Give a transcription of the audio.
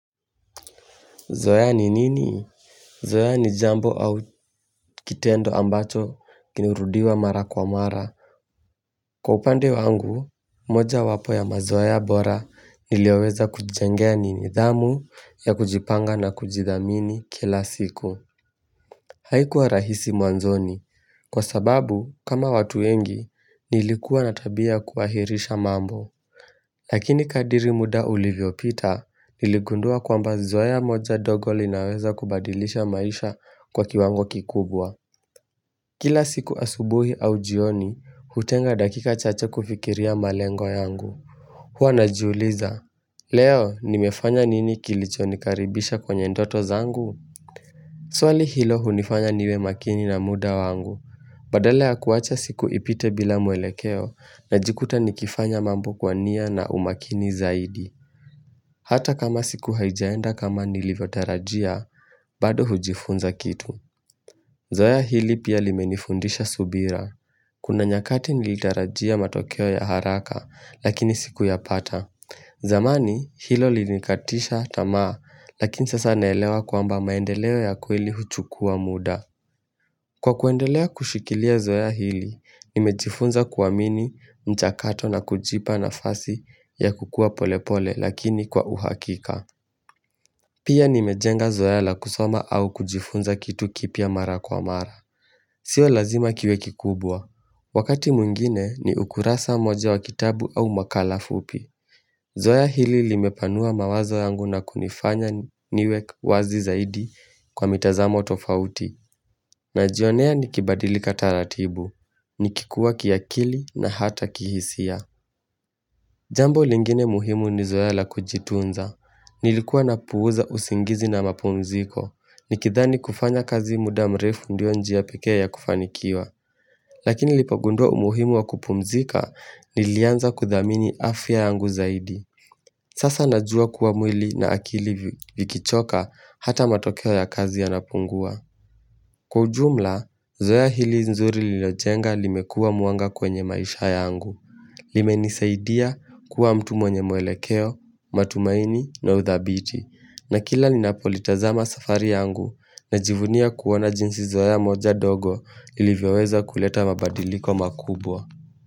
Zoya ni nini? Zoya ni jambo au kitendo ambacho kilirudiwa mara kwa mara. Kwa upande wangu, moja wapo ya mazoeya bora niliyoweza kuchichengea ni nidhamu ya kujipanga na kujidhamini kila siku. Haikuwa rahisi mwanzoni. Kwa sababu, kama watu wengi, nilikuwa na tabia ya kuahirisha mambo. Lakini kadiri muda ulivyopita, niligundua kwamba zoea moja ndogo linaweza kubadilisha maisha kwa kiwango kikubwa. Kila siku asubuhi au jioni, hutenga dakika chache kufikiria malengo yangu. Huwa najiuliza, leo nimefanya nini kilichonikaribisha kwenye ndoto zangu? Swali hilo hunifanya niwe makini na muda wangu. Badala ya kuacha siku ipite bila mwelekeo najikuta nikifanya mambo kwa nia na umakini zaidi. Hata kama siku haijaenda kama nilivyotarajia, bado hujifunza kitu Zoea hili pia limenifundisha subira Kuna nyakati nilitarajia matokeo ya haraka, lakini sikuyapata zamani, hilo lilinikatisha tamaa, lakini sasa naelewa kwamba maendeleo ya kweli huchukua muda Kwa kuendelea kushikilia zoea hili, nimejifunza kuamini mchakato na kujipa nafasi ya kukua polepole lakini kwa uhakika Pia nimejenga Zoea la kusoma au kujifunza kitu kipya mara kwa mara. Sio lazima kiwe kikubwa. Wakati mwingine ni ukurasa moja wa kitabu au makala fupi. Zoea hili limepanua mawazo yangu na kunifanya niwe wazi zaidi kwa mitazamo tofauti. Najionea nikibadilika taratibu. Nikikuwa kiakili na hata kihisia. Jambo lingine muhimu ni Zoea la kujitunza. Nilikuwa napuuza usingizi na mapumziko. Nikidhani kufanya kazi muda mrefu ndio njia pekee ya kufanikiwa Lakini nilipogundua umuhimu wa kupumzika nilianza kudhamini afya yangu zaidi Sasa najua kuwa mwili na akili vi vikichoka hata matokeo ya kazi yanapungua Kwa ujumla, zoea hili nzuri lilojenga limekua mwanga kwenye maisha yangu limenisaidia kuwa mtu mwenye muelekeo, matumaini na uthabiti na kila linapolitaza masafari yangu na jivunia kuona jinsi zoea moja dogo ilivyaweza kuleta mabadiliko makubwa.